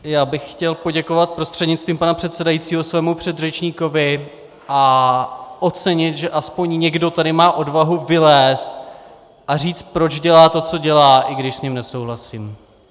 Já bych chtěl poděkovat prostřednictvím pana předsedajícího svému předřečníkovi a ocenit, že aspoň někdo tady má odvahu vylézt a říct, proč dělá to, co dělá, i když s ním nesouhlasím.